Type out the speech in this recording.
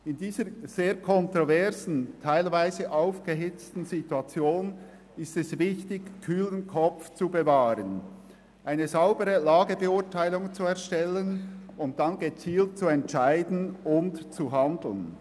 In dieser sehr kontroversen und teilweise hitzigen Diskussion ist es wichtig, einen kühlen Kopf zu bewahren, eine saubere Lagebeurteilung zu erstellen und dann gezielt zu entscheiden und zu handeln.